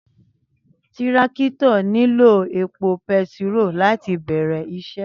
Tírákítọ̀ nílọ ẹpọ pẹtiro làtí bẹẹrẹ isẹ